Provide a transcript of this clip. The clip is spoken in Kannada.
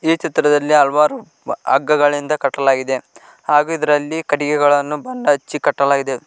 ಈ ಚಿತ್ರದಲ್ಲಿ ಹಲವಾರು ಹಗ್ಗಗಳಿಂದ ಕಟ್ಟಲಾಗಿದೆ ಹಾಗು ಇದರಲ್ಲಿ ಕಟಿಗೆಗಳನ್ನು ಬಣ್ಣ ಹಚ್ಚಿ ಕಟ್ಟಲಾಗಿದೆ.